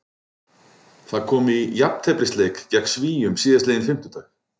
Það kom í jafnteflisleik gegn Svíum síðastliðinn fimmtudag.